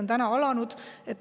Nüüd on see alanud.